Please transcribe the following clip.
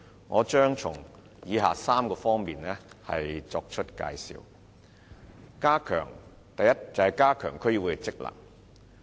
我將從以下3方面作出介紹：第一，加強區議會的職能。